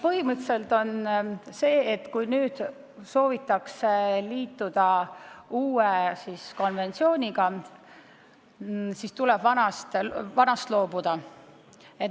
Põhimõtteliselt on nii, et kui soovitakse liituda uue konventsiooniga, siis tuleb vanast loobuda.